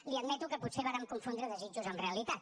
li admeto que potser vàrem confondre desitjos amb realitat